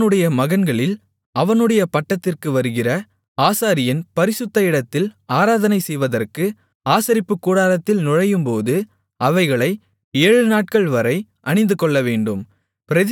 அவனுடைய மகன்களில் அவனுடைய பட்டத்திற்கு வருகிற ஆசாரியன் பரிசுத்த இடத்தில் ஆராதனை செய்வதற்கு ஆசரிப்புக்கூடாரத்தில் நுழையும்போது அவைகளை ஏழுநாட்கள்வரை அணிந்துகொள்ளவேண்டும்